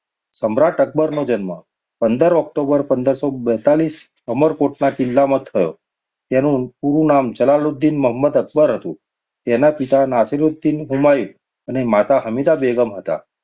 સમ્રાટ અક્બરનો જન્મ પંદર ઑક્ટોબર પંદરસોબેતાલીસ અમરકોટના કિલ્લામાં થયો. તેનું પૂરું નામ જલાલુદીન મહંમદ અબ્બર હતું. તેના પિતા નાસિરૂદીન હુમાયુ અને માતા હમીદા બેગમ હતાં.